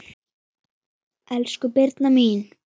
Elsku Birna mín.